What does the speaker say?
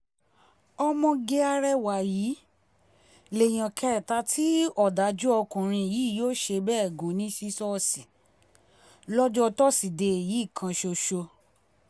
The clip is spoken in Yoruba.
ọmọge arẹwà yìí lèèyàn kẹta tí ọ̀dájú ọkùnrin yìí yóò ṣe bẹ́ẹ̀ gùn ní ṣíṣọ́ọ̀ṣì lọ́jọ́ tọ́sídẹ̀ẹ́ yìí kan ṣoṣo